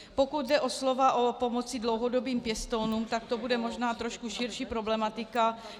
Pokud jde o slova o pomoci dlouhodobým pěstounům, tak to bude možná trochu širší problematika.